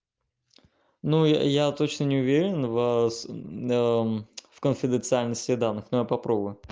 ну я точно не уверен вас в конфиденциальности данных но я попробую